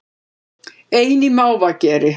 Ein í mávageri